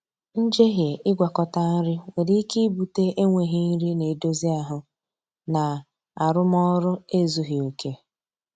Njehie ịgwakọta nri nwere ike ibute enweghị nri na-edozi ahụ na arụmọrụ ezughi oke